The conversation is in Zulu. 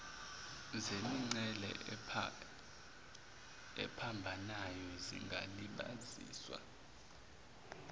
zemingcele ephambanayo zingalibaziswa